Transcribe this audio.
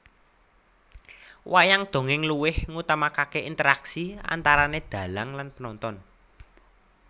Wayang dongèng luweh ngutamakake interaksi antarane dhalang lan penonton